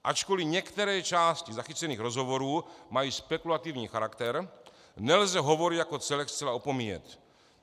Ačkoliv některé části zachycených rozhovorů mají spekulativní charakter, nelze hovory jako celek zcela opomíjet.